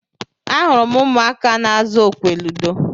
Ahụrụ m ụmụaka n'azụ okwe ludo.